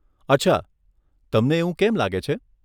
અચ્છા, તમને એવું કેમ લાગે છે?